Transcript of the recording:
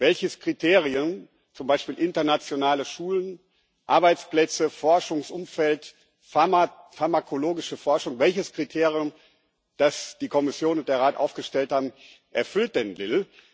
Welches Kriterium zum Beispiel internationale Schulen, Arbeitsplätze, Forschungsumfeld, pharmakologische Forschung das die Kommission und der Rat aufgestellt haben, erfüllt denn Lille?